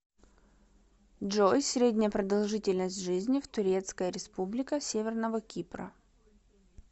джой средняя продолжительность жизни в турецкая республика северного кипра